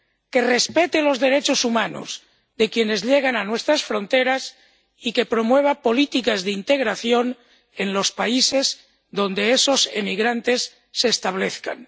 que respete los derechos humanos de quienes llegan a nuestras fronteras y que promueva políticas de integración en los países donde esos emigrantes se establezcan.